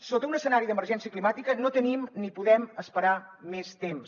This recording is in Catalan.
sota un escenari d’emergència climàtica no tenim ni podem esperar més temps